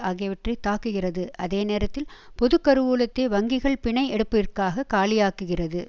ஆகியவற்றை தாக்குகிறது அதே நேரத்தில் பொது கருவூலத்தை வங்கிகள் பிணை எடுப்பிற்காக காலியாக்குகிறது